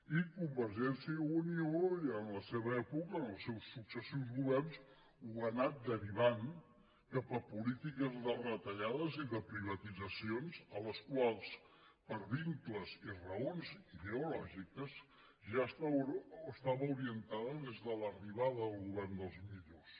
i convergència i unió en la seva època en els seus successius governs ho ha anat derivant cap a polítiques de retallades i de privatitzacions a les quals per vincles i raons ideològiques ja estava orientada des de l’arribada del govern dels millors